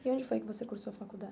E onde foi que você cursou a faculdade?